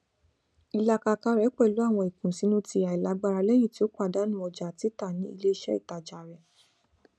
ìlàkàkà rẹ pẹlú àwọn ìkùnsínú ti àìlágbára lẹyìn tí ó pàdánù ojà títa ni iléiṣẹ ìtajà rẹ